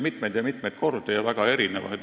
Neid on tehtud mitmeid kordi ja väga erinevaid.